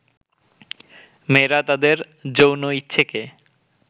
মেয়েরা তাদের যৌনইচ্ছেকে